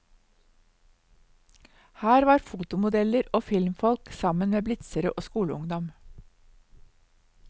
Her var fotomodeller og filmfolk sammen med blitzere og skoleungdom.